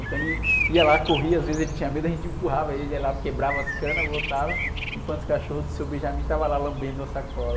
Então ele ia lá, corria, às vezes ele tinha medo, a gente empurrava ele, ele ia lá, quebrava as canas, voltava, enquanto os cachorros do estavam lá lambendo a sacola.